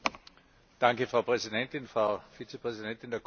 Frau Präsidentin, Frau Vizepräsidentin der Kommission!